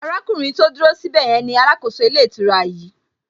Arákùnrin tí ó dúró sí ibè yẹn ni alákòóso ilé ìtura yìí